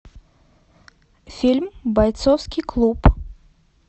фильм бойцовский клуб